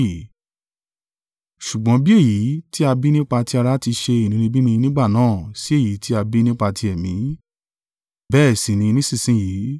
Ṣùgbọ́n bí èyí tí a bí nípa ti ara ti ṣe inúnibíni nígbà náà sí èyí tí a bí nípa ti Ẹ̀mí, bẹ́ẹ̀ sì ni nísinsin yìí.